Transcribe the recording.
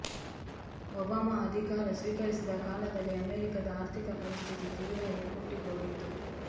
Obama ಅಧಿಕಾರ ಸ್ವೀಕರಿಸಿದ ಕಾಲದಲ್ಲಿ ಅಮೆರಿಕದ ಆರ್ಥಿಕ ಪರಿಸ್ಥಿತಿ ತೀರಾ ಎಕ್ಕುಟ್ಟಿಹೋಗಿತ್ತು